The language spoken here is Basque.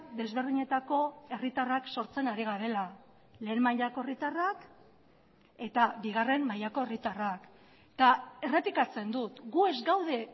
desberdinetako herritarrak sortzen ari garela lehen mailako herritarrak eta bigarren mailako herritarrak eta errepikatzen dut gu ez gaude